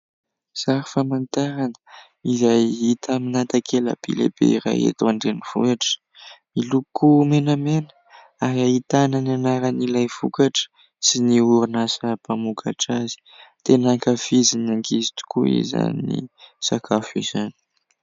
Sary famantarana izay hita amina takela-by lehibe iray eto an-drenivohitra, miloko menamena, ary ahitana ny anaran'ilay vokatra sy ny orinasa mpamokatra azy. Tena ankafizin'ny ankizy tokoa izany sakafo izany.